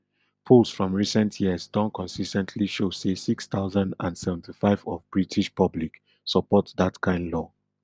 polls from recent years don consis ten tly show say six thousand and seventy-five of british public support dat kain law